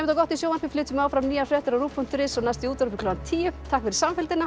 gott í sjónvarpi flytjum áfram nýjar fréttir á ruv punktur is og næst í útvarpi klukkan tíu takk fyrir samfylgdina